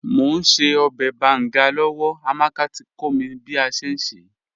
Mò n ṣẹ̀ ọbẹ̀ bàngà lọ́lá, Amàkà tí kò mí bí a ṣẹ̀ n ṣẹ́.